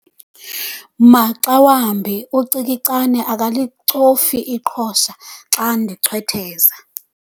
Maxa wambi ucikicane akalicofi iqhosha xa ndichwetheza.